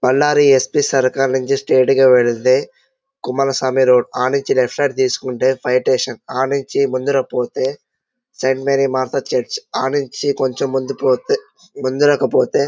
Ballari SP సర్కార్ నుంచి straight గా వెళ్ళితే కుమలస్వామి రోడ్ ఆ నుంచి లెఫ్ట్ సైడ్ తీసుకుంటే ఫైర్ స్టేషన్ ఆ నుంచి ముందరకి పోతే సెయింట్ మేరి మాత చర్చి ఆ నుంచి కొంచం ముందుకు పోతే ముందరకి పోతే --